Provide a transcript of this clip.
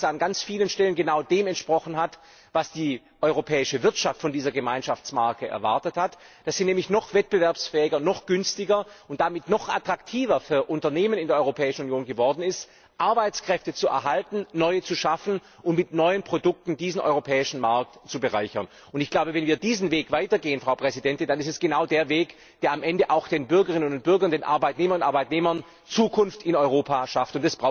Ich glaube, dass er an ganz vielen Stellen genau dem entsprochen hat, was die europäische Wirtschaft von dieser Gemeinschaftsmarke erwartet hat dass sie nämlich noch wettbewerbsfähiger, noch günstiger und es damit noch attraktiver für Unternehmen in der Europäischen Union geworden ist, Arbeitsplätze zu erhalten, neue zu schaffen und mit neuen Produkten diesen europäischen Markt zu bereichern. Wenn wir diesen Weg weitergehen, dann ist es genau der Weg, der am Ende für die Bürgerinnen und Bürger, für Arbeitnehmerinnen und Arbeitnehmer Zukunft in Europa schafft!